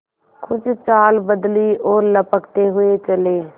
कुछ चाल बदली और लपकते हुए चले